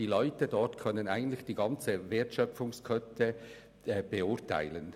Das heisst, die Leute dort können die gesamte Wertschöpfungskette beurteilen.